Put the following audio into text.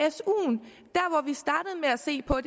se på